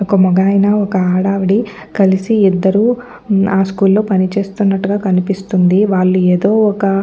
ఒక మగ్గాయన ఒక ఆడావిడ కలిసి ఇద్దరు కలిసి ఆ స్కూల్ లో పని చేస్తున్నట్టుగా కనిపిస్తుంది వాళ్ళు ఏదో ఒక--